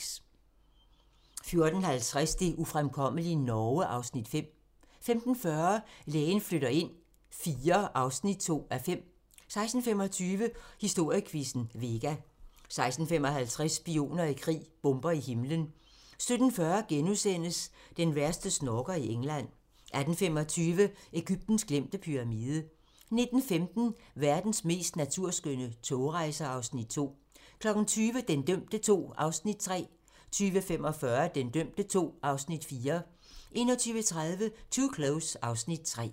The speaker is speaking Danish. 14:50: Det ufremkommelige Norge (Afs. 5) 15:40: Lægen flytter ind IV (2:5) 16:25: Historiequizzen: Vega 16:55: Spioner i krig: Bomber i himlen 17:40: Den værste snorker i England * 18:25: Egyptens glemte pyramide 19:15: Verdens mest naturskønne togrejser (Afs. 2) 20:00: Den dømte II (Afs. 3) 20:45: Den dømte II (Afs. 4) 21:30: Too Close (Afs. 3)